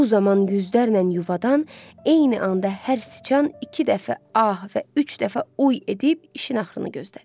Bu zaman yüzlərlə yuvadan eyni anda hər siçan iki dəfə ah və üç dəfə uy edib işin axırını gözlədi.